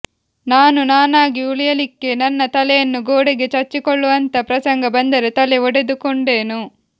ನಾನು ನಾನಾಗಿ ಉಳಿಯಲಿಕ್ಕೆ ನನ್ನ ತಲೆಯನ್ನು ಗೋಡೆಗೆ ಚಚ್ಚಿಕೊಳ್ಳುವಂಥ ಪ್ರಸಂಗ ಬಂದರೆ ತಲೆ ಒಡೆದುಕೊಂಡೇನು